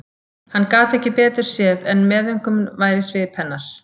Hann gat ekki betur séð en meðaumkun væri í svip hennar.